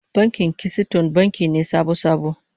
Bankin Kisiton banki ne sabo-sabo